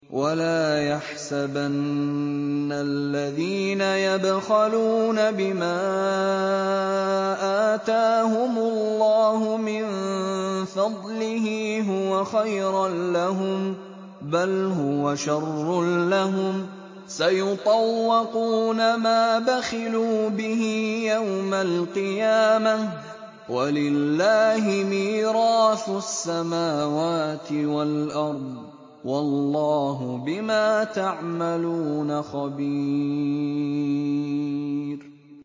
وَلَا يَحْسَبَنَّ الَّذِينَ يَبْخَلُونَ بِمَا آتَاهُمُ اللَّهُ مِن فَضْلِهِ هُوَ خَيْرًا لَّهُم ۖ بَلْ هُوَ شَرٌّ لَّهُمْ ۖ سَيُطَوَّقُونَ مَا بَخِلُوا بِهِ يَوْمَ الْقِيَامَةِ ۗ وَلِلَّهِ مِيرَاثُ السَّمَاوَاتِ وَالْأَرْضِ ۗ وَاللَّهُ بِمَا تَعْمَلُونَ خَبِيرٌ